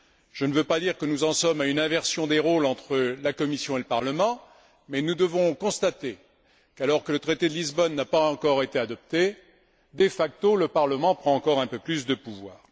Je ne veux pas dire que nous en sommes à une inversion des rôles entre la Commission et le Parlement, mais nous devons constater qu'alors que le traité de Lisbonne n'a pas encore été adopté, de facto, le Parlement prend encore un peu plus de pouvoir.